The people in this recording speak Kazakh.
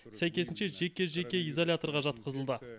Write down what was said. сәйкесінше жеке жеке изоляторға жатқызылды